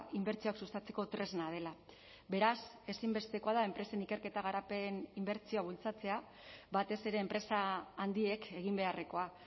inbertsioak sustatzeko tresna dela beraz ezinbestekoa da enpresen ikerketa garapen inbertsioa bultzatzea batez ere enpresa handiek egin beharrekoa